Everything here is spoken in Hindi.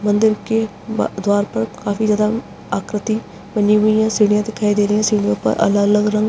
मंदिर के द्वार पर काफी ज्यादा आकृति बनी हुई है सीढ़ियाँ दिखाई दे रही हैं सीढ़ियों पर अलग-अलग रंग --